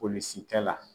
Polisikɛ la